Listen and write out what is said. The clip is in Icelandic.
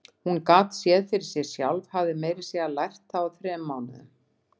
Hún gat séð fyrir sér sjálf, hafði meira að segja lært það á þremur mánuðum.